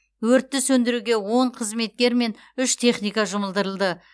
өртті сөндіруге он қызметкер мен үш техника жұмылдырылды